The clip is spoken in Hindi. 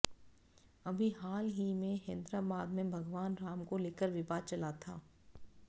अभी हाल ही में हैदराबाद में भगवान राम को लेकर विवाद चला था